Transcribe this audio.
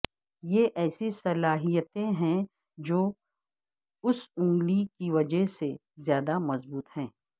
یہ ایسی صلاحیتیں ہیں جو اس انگلی کی وجہ سے زیادہ مضبوط ہیں